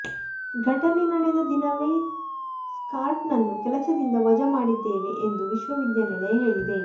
ಘಟನೆ ನಡೆದ ದಿನವೇ ಸ್ಕಾಟ್ ನನ್ನು ಕೆಲಸದಿಂದ ವಜಾ ಮಾಡಿದ್ದೇವೆ ಎಂದು ವಿಶ್ವವಿದ್ಯಾನಿಲಯ ಹೇಳಿದೆ